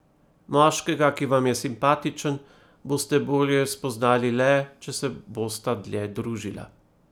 Moškega, ki vam je simpatičen, boste bolje spoznali le, če se bosta dlje družila.